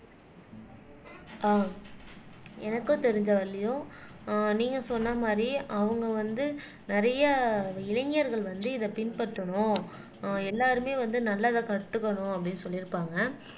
ஆஹ் எனக்கும் தெரிஞ்ச வரையிலும் ஆஹ் நீங்க சொன்ன மாதிரி அவுங்க வந்து நிறைய இளைஞர்கள் வந்து இதை பின்பற்றணும் ஆஹ் எல்லாருமே வந்து நல்லதை கத்துக்கணும் அப்படின்னு சொல்லி இருப்பாங்க